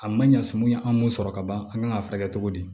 A ma ɲa sɔmi an m'o sɔrɔ kaban an kan ka furakɛ cogo di